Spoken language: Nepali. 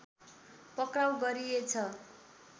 पक्राउ गरिएछ